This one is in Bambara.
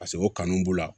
Paseke o kanu b'u la